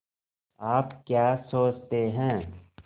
आप क्या सोचते हैं